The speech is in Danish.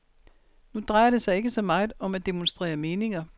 Nu drejer det sig ikke så meget om at demonstrere meninger.